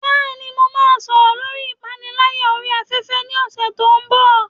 Bẹ́ẹ̀ni, mo máa sọ̀rọ̀ lórí ìpániláyà orí afẹ́fẹ́ ní ọ̀sẹ̀ tó ń bọ̀.